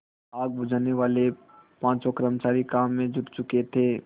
आग बुझानेवाले पाँचों कर्मचारी काम में जुट चुके थे